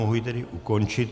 Mohu ji tedy ukončit.